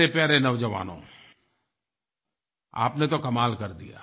मेरे प्यारे नौजवानो आपने तो कमाल कर दिया